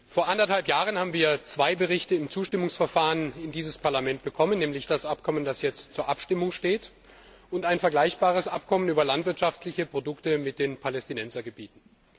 Vor anderthalb Jahren haben wir zwei Berichte im Zustimmungsverfahren in dieses Parlament bekommen, nämlich das Abkommen, das jetzt zur Abstimmung steht, und ein vergleichbares Abkommen über landwirtschaftliche Produkte mit den Palästinensergebieten.